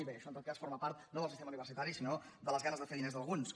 bé això en tot cas forma part no del sistema universitari sinó de les ga·nes de fer diners d’alguns